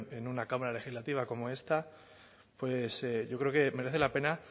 en una cámara legislativa como esta pues yo creo que merece la pena